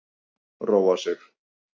Róa sig.